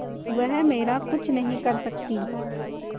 वह मेरा कुछ नहीं कर सकती